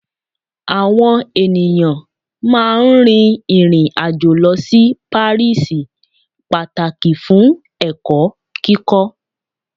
awọn eniyan máà ń rin irin ajo lọ si Paris pataki fun ẹkọ kíkọ.